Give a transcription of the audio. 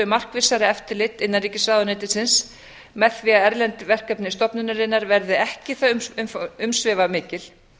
markvissari eftirlit innanríkisráðuneytisins með því að erlend verkefni stofnunarinnar verði ekki það umsvifamikil